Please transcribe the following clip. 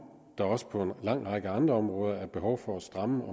der også på en lang række andre områder er behov for at stramme med